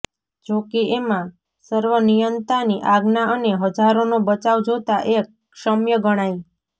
જોકે એમાં સર્વનિયંતાની આજ્ઞા અને હજારોનો બચાવ જોતાં એ ક્ષમ્ય ગણાય